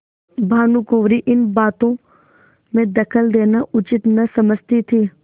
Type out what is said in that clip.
भानुकुँवरि इन बातों में दखल देना उचित न समझती थी